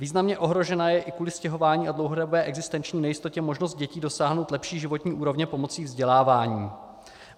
Významně ohrožena je i kvůli stěhování a dlouhodobé existenční nejistotě možnost dětí dosáhnout lepší životní úrovně pomocí vzdělávání.